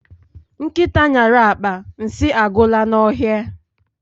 Nkịta nyara akpa, nsị agwụla n'ọhịa